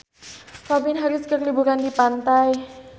Calvin Harris keur liburan di pantai